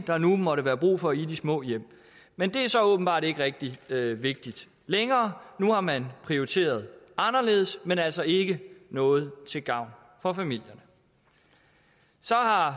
der nu måtte være brug for i de små hjem men det er så åbenbart ikke rigtig vigtigt længere nu har man prioriteret anderledes men altså ikke noget til gavn for familierne så har